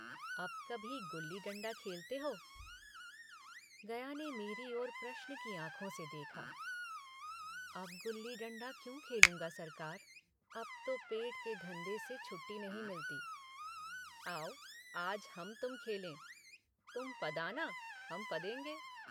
अब कभी गुल्लीडण्डा खेलते हो गया ने मेरी ओर प्रश्न की आँखों से देखा अब गुल्लीडण्डा क्या खेलूँगा सरकार अब तो पेट के धन्धे से छुट्टी नहीं मिलती। आओ आज हम तुम खेलें तुम पदाना हम पदेंगे